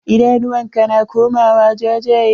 Idanuwan ka na komawa jajye.